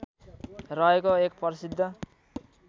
रहेको एक प्रसिद्ध